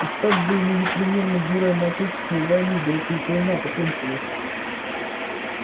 и стать бы ему непременно героем отечественной войны да вот только война-то кончилась